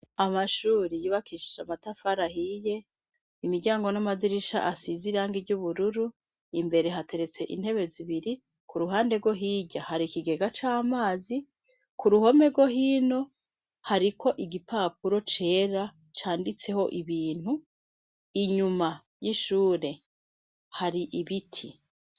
Amashuri yubakishije amatafari ahiye, imiryango n'amadirisha asize irangi ry'ubururu, imbere hateretse intebe zibiri, kuruhande rwo hirya hari ikigega c'amazi, k'uruhome rwo hino hari igipapuro cera canditseho ibintu, inyuma y'ishure hari ibiti.